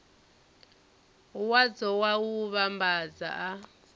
wadzo wa u vhambadza a